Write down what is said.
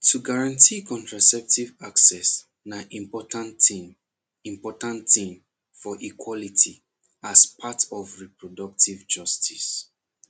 to guarantee contraceptive access na important thing important thing for equality as part of reproductive justice